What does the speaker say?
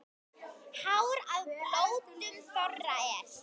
Hár á blótum þorra er.